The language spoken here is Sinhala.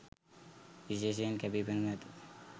විශේෂයෙන් කැපී පෙනෙනු ඇත